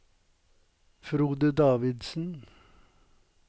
Frode Davidsen